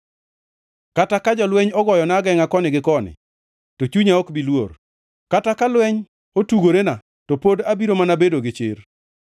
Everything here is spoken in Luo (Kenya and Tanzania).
Kata ka jolweny ogoyona agengʼa koni gi koni, to chunya ok bi luor; kata ka lweny otugorena, to pod abiro mana bedo gi chir.